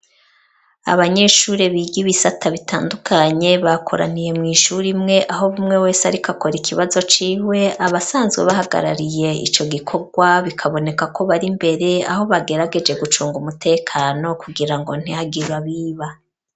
Abanyeshure, biga ibisata bitandukanye, bakoraniye mw'ishure imwe, aho umwe wese, ariko akora ikibazo ciwe; abasanzwe bahagarariye ico gikorwa, bikaboneka ko, bari imbere, aho bagerageje, gucunga umutekano, kugira ngo, ntihagire abiba.